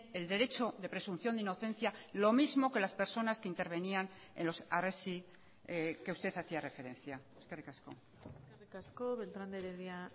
el derecho de presunción de inocencia lo mismo que las personas que intervenían en los harresi que usted hacía referencia eskerrik asko eskerrik asko beltrán de heredia